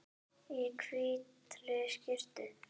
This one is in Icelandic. Í hvítri skyrtu.